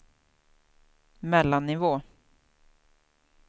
mellannivå